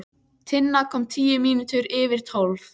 Tinna kom tíu mínútur yfir tólf.